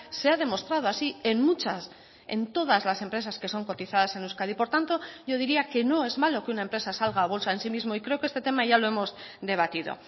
se ha demostrado así en muchas en todas las empresas que son cotizadas en euskadi por tanto yo diría que no es malo que una empresa salga a bolsa en sí mismo y creo que este tema ya lo hemos debatido